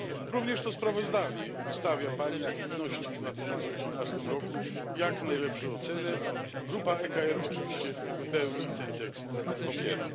Również to sprawozdanie wystawa Pani aktywności w 2018 roku jak najlepsze oceny. Grupa ECR oczywiście w pełni ten tekst popiera.